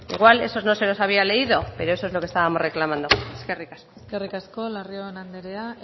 igual esos no se los había leído pero eso es lo que estábamos reclamando eskerrik asko eskerrik asko larrion anderea